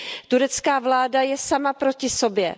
Turecká vláda je sama proti sobě.